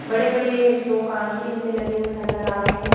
बड़े बड़े दो कांच भी हमें लगे हुए नजर आ रहे हैं।